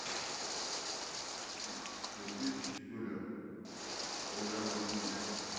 включи чистюля аояма кун